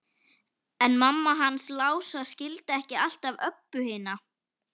En mamma hans Lása skildi ekki alltaf Öbbu hina.